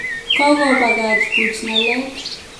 Kokobakach buch ngalek